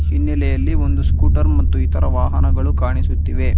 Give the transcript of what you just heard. ಹಿನ್ನಲೆಯಲ್ಲಿ ಒಂದು ಸ್ಕೂಟರ್ ಮತ್ತು ಇತರ ವಾಹನಗಳು ಕಾಣಿಸುತ್ತಿವೆ.